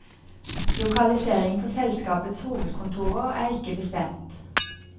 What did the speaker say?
Lokalisering for selskapets hovedkontor er ikke bestemt.